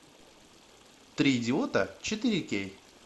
три идиота четыре кей